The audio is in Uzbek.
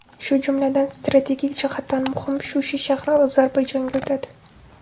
Shu jumladan, strategik jihatdan muhim Shusha shahri Ozarbayjonga o‘tadi.